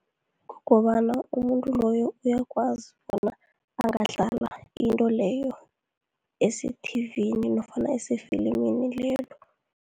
Kukobana umuntu loyo uyakwazi bona angadlala into leyo esethivini nofana esefilimini lelo.